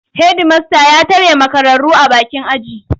Hedimasta ya tare makararru a bakin aji.